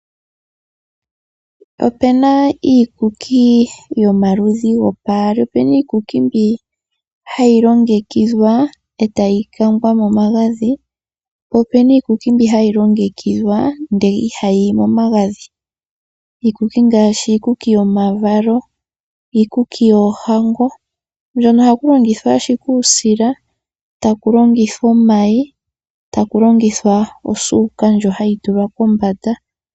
Opena iikuki yomaludhi gopaali. Opena iikuku mbi hayi longekidhwa etayi kangwa momagadhi, po opena iikuki mbi hayi longekidhwa ndele ihayiyi momagadhi . Iikuki ngaashi iikuki yomavalo, iikuki yoohango mbyono ohaku longithwa ashike uusila taku longithwa omayi ,taku longithwa osuuka ndjono hayi tulwa kombanda.